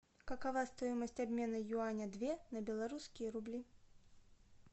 какова стоимость обмена юаня две на белорусские рубли